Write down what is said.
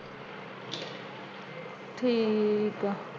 ਠੀਕ ਆ।